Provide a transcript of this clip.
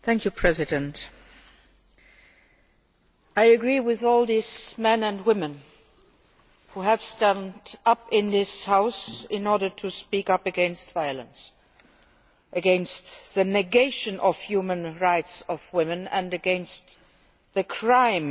Mr President, I agree with all the men and women who have stood up in this House to speak out against violence, against the negation of the human rights of women and against the crime